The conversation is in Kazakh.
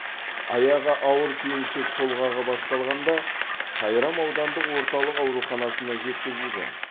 аяғы ауыр келіншек толғағы басталғанда сайрам аудандық орталық ауруханасына жеткізілген